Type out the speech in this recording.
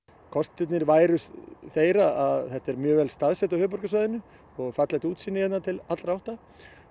kostirnir væru þeir að þetta er mjög vel staðsett á höfuðborgarsvæðinu það er fallegt útsýni hérna til allra átta